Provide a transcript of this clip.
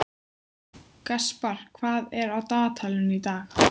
Kaspar, hvað er á dagatalinu í dag?